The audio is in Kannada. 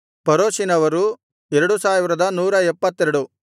ಪರೋಷಿನವರು 2172